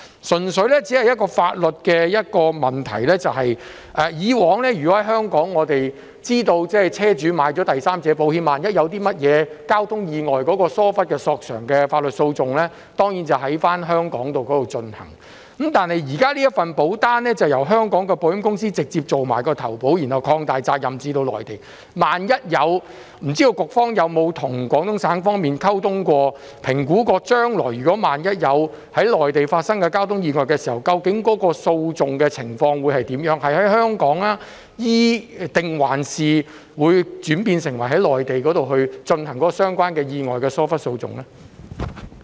當中有一個純粹法律上的問題，我們知道在香港，車主購買了第三者保險，萬一發生交通意外，疏忽索償的法律訴訟當然會在香港進行，但現時這份保單則由香港的保險公司直接負責承保，然後把責任擴大至涵蓋內地，不知道局方有否與廣東省方面進行溝通和評估，研究將來萬一在內地發生交通意外時，究竟會如何處理相關的訴訟，會在香港還是在內地進行與意外相關的疏忽訴訟呢？